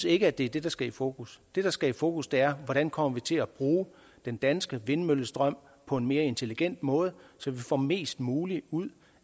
ikke er det det der skal i fokus det der skal i fokus er hvordan vi kommer til at bruge den danske vindmøllestrøm på en mere intelligent måde så vi får mest muligt ud